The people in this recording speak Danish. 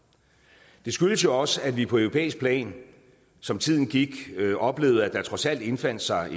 det skyldes jo også at vi på europæisk plan som tiden gik oplevede at der trods alt indfandt sig